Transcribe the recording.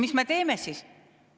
Mis me teeme siis?